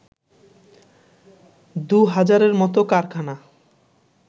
দুহাজারের মত কারখানা